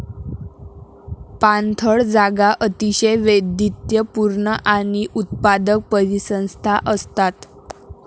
पाणथळ जागा अतिशय वैविध्यपूर्ण आणि उत्पादक परिसंस्था असतात.